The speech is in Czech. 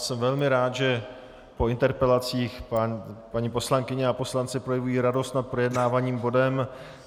Jsem velmi rád, že po interpelacích paní poslankyně a poslanci projevují radost nad projednávaným bodem.